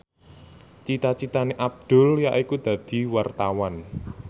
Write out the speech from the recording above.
cita citane Abdul yaiku dadi wartawan